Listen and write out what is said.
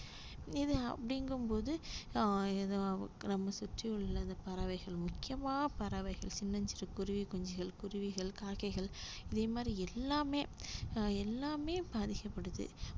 இது அப்படிங்கும்போத அஹ் நமக்கு நம்ம சுற்றி உள்ள பறவைகள் முக்கியமா பறவைகள் சின்னஞ்சிறு குருவி குஞ்சுகள் குருவிகள் காக்கைகள் இதே மாதிரி எல்லாமே அஹ் எல்லாமே பாதிக்கப்படுது